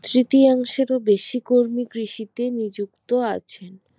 তৃতীয়াংশে ও বেশি কর্মী কৃষিতে নিযুক্ত আছেন